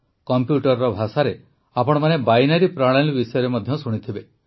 କମ୍ପ୍ୟୁଟରର ଭାଷାରେ ଆପଣମାନେ ବାଇନାରୀ ପ୍ରଣାଳୀ ବିଷୟରେ ମଧ୍ୟ ଶୁଣିଥିବେ